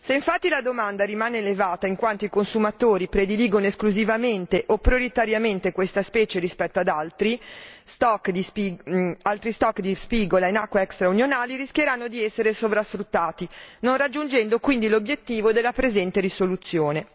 Se infatti la domanda rimane elevata in quanto i consumatori prediligono esclusivamente o prioritariamente questa specie rispetto ad altri stock di spigola in acque extra unionali, rischieranno di essere sovrasfruttati, non raggiungendo quindi l'obiettivo della presente risoluzione.